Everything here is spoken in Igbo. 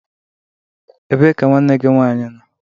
Ebee ka nwanne gị nwaanyị nọ?